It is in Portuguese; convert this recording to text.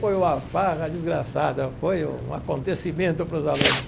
Foi uma farra desgraçada, foi um acontecimento para os alunos.